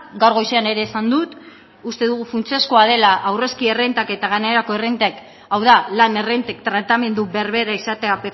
gaur goizean ere esan dut uste dugu funtsezkoa dela aurrezki errentak eta gainerako errentek hau da lan errentek tratamendu berbera izatea